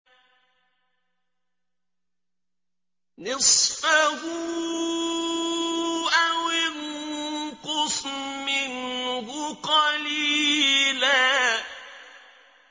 نِّصْفَهُ أَوِ انقُصْ مِنْهُ قَلِيلًا